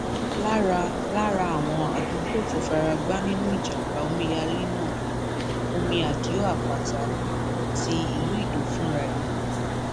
lára lára àwọn àdúgbò tó fara gbá nínú ìjàmbá omíyalé náà ni omi àdìo àpáta àti ìlú ido fúnra ẹ